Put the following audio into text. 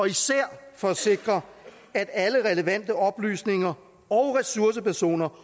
især for at sikre at alle relevante oplysninger og ressourcepersoner